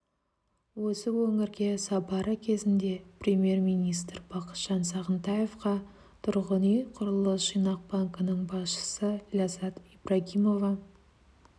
осы өңірге сапары кезінде премьер-министрі бақытжан сағынтаевқа тұрғын үй құрылыс жинақ банкінің басшысы ләззат ибрагимова